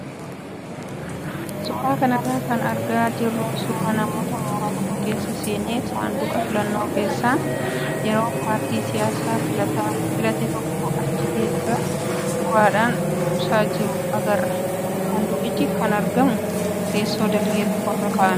Suuraa kanarraa kan argaa jirru suuraa nama mooraa tokko keessa seenee saanduqa filannoo keessa yeroo paartii siyaasaa filate tokko achi keessa uraadhaan buusaa jiru agarra. Saanduqichi kan argamu teessoo dalgee tokkorra kaa'ameeti.